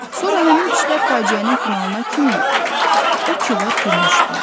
Sonra həmin kişilər faciənin finalına kimi o ki var gülmüşdülər.